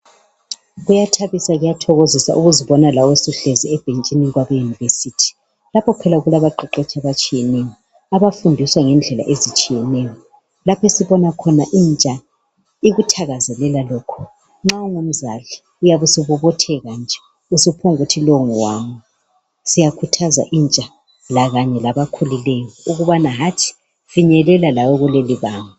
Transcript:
Kuyathabisa njalo kuyathokozisa ukuzibona lawe usuhlezi ebhentshini labe University. Lapha phela kulabaqeqetshi abatshiyeneyo, abafundisa ngendlela ezitshiyeneyo, lapho esibona khona intsha ikuthakazelela lokhu. Nxa ungumzali uyabe usubobotheka nje, usuphonguthi lowu ngowami. Siyakhuthaza intsha lakanye labakhulikeyo ukubana hatshi finyelela lawe kulelibanga.